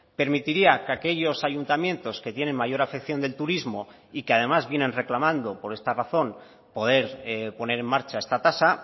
permitiría que aquellos ayuntamientos que tienen mayor afección del turismo y que además vienen reclamando por esta razón poder poner en marcha esta tasa